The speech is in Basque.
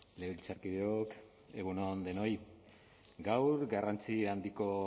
legebiltzarkideok egun on denoi gaur garrantzi handiko